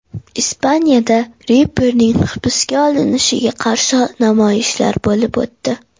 Ispaniyada reperning hibsga olinishiga qarshi namoyishlar bo‘lib o‘tdi .